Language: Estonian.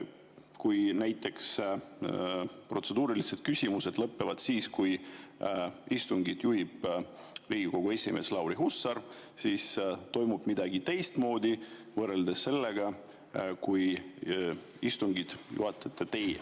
Kui näiteks protseduurilised küsimused lõpevad siis, kui istungit juhib Riigikogu esimees Lauri Hussar – kas siis toimub midagi teistmoodi, võrreldes sellega, kui istungit juhatate teie?